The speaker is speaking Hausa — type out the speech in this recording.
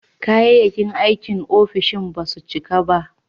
Kayayyakin aikin ofishin ba su cika ba.